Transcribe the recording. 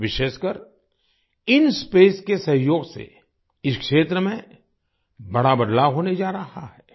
विशेषकर इंस्पेस के सहयोग से इस क्षेत्र में बड़ा बदलाव होने जा रहा है आई